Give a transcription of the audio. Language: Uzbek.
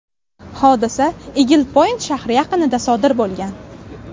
Hodisa Igl-Point shahri yaqinida sodir bo‘lgan.